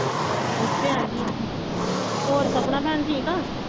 ਇੱਥੇ ਹੈ ਨਹੀਂ, ਹੋਰ ਸਪਨਾ ਭੈਣ ਠੀਕ ਹੈ